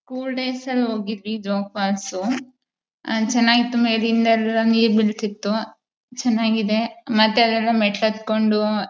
school days ಅಲ್ಲಿ ಹೋಗಿದ್ವಿ Jog falls ಅಲ್ಲಿ ಚೆನ್ನಾಗಿತ್ತು ಮೇಲಿಂದ ನೀರ್ ಬಿಳ್ತಿತು ಚೆನ್ನಾಗಿದೆ ಮತ್ತೆ ಅಲ್ಲೆಲ್ಲ ಮೆಟ್ಲು ಹತ್ತುಕೊಂಡು__